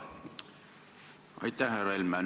Aitäh, härra Helme!